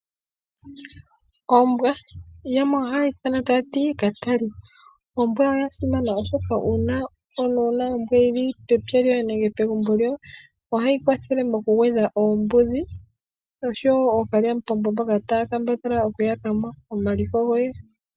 Ombwa, yamwe oha yeyi ithana taya ti Katali. Ombwa oya simana oshoka uuna omuntu wuna ombwa yili pepya lyoye nenge pegumbo lyoye, ohayi kwathele moku gwedha oombudhi osho wo ookalyamupombo mboka taya kambadhala oku yaka mo omaliko goye.